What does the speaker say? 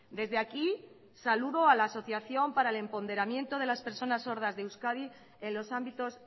desde aquí saludo a la asociación para el empoderamiento de las personas sordas de euskadi en los ámbitos